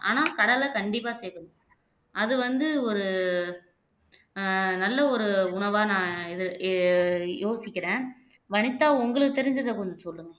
ஆனால் கடலை கண்டிப்பா சேர்க்கணும் அது வந்து ஒரு அஹ் நல்ல ஒரு உணவா நான் இதை யோ யோசிக்கிறேன் வனிதா உங்களுக்கு தெரிஞ்சதை கொஞ்சம் சொல்லுங்க